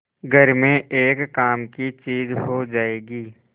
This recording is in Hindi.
घर में एक काम की चीज हो जाएगी